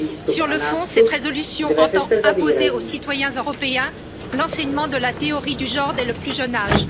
Sur le fond, cette résolution entend imposer aux citoyens européens l'enseignement de la théorie du genre dès le plus jeune âge.